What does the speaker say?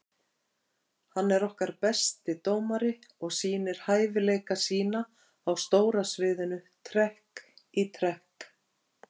Hann er okkar besti dómari og sýnir hæfileika sína á stóra sviðinu trekk í trekk.